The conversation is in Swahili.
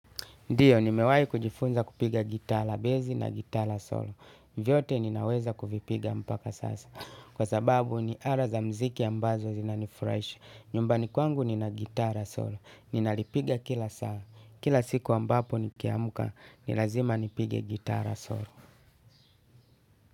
Ndiyo, nimewahi kujifunza kupiga gitaa la bezi na gitaa la solo. Vyote ninaweza kuvipiga mpaka sasa. Kwa sababu ni ara za mziki ambazo zinanifrahisha. Nyumbani kwangu nina gitaa la solo. Ninalipiga kila saa. Kila siku ambapo nikiamka, nilazima nipige gitaa la solo.